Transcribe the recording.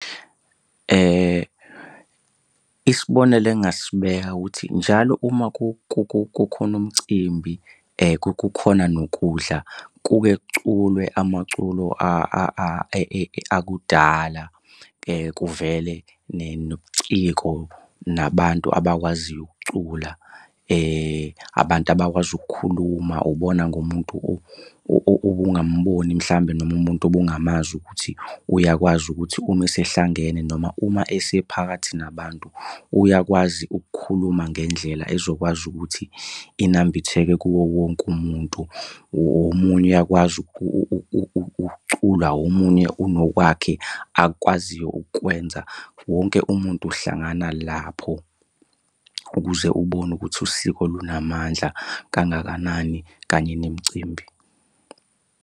Isibonelo engingasibeka ukuthi njalo uma kukhona umcimbi kukhona nokudla, kuke kuculwe amaculo akudala. Kuvele nobuciko nabantu abakwaziyo ukucula, abantu abakwazi ukukhuluma ubona ngomuntu obungamboni mhlawumbe noma umuntu obungamazi ukuthi uyakwazi ukuthi uma esehlangene noma uma esephakathi nabantu uyakwazi ukukhuluma ngendlela ezokwazi ukuthi inambitheke kuwo wonke umuntu. Omunye uyakwazi ukucula, omunye unokwakhe akwaziyo ukukwenza. Wonke umuntu uhlangana lapho ukuze ubone ukuthi usiko lunamandla kangakanani kanye nemicimbi.